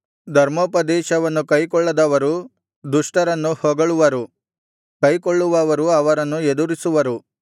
ಧರ್ಮೋಪದೇಶವನ್ನು ಕೈಕೊಳ್ಳದವರು ದುಷ್ಟರನ್ನು ಹೊಗಳುವರು ಕೈಕೊಳ್ಳುವವರು ಅವರನ್ನು ಎದುರಿಸುವರು